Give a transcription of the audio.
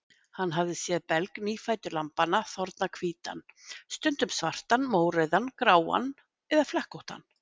Hann hafði séð belg nýfæddu lambanna þorna hvítan, stundum svartan, mórauðan, gráan eða flekkóttan.